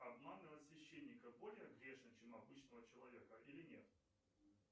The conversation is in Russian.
обманывать священника более грешно чем обычного человека или нет